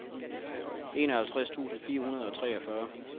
enoghalvtreds tusind fire hundrede og treogfyrre